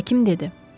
Həkim dedi.